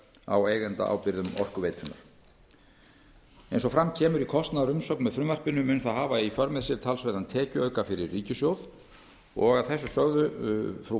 á eigendaábyrgðum orkuveitunnar eins og fram kemur í kostnaðarumsögn með frumvarpinu mun það hafa í för með sér talsverðan tekjuauka fyrir ríkissjóð og að þessu sögðu frú